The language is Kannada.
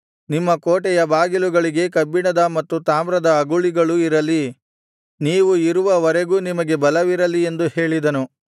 ನಿಮ್ಮ ಕೋಟೆಯ ಬಾಗಿಲುಗಳಿಗೆ ಕಬ್ಬಿಣದ ಮತ್ತು ತಾಮ್ರದ ಅಗುಳಿಗಳು ಇರಲಿ ನೀವು ಇರುವವರೆಗೂ ನಿಮಗೆ ಬಲವಿರಲಿ ಎಂದು ಹೇಳಿದನು